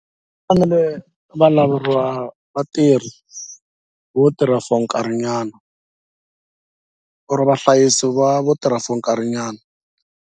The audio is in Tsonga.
Fanele va laveriwa vatirhi vo tirha for nkarhinyana or vahlayisi va vo tirha for nkarhinyana.